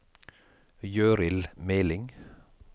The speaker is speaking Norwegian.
Gøril Meling